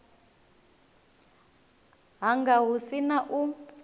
hanga hu si na u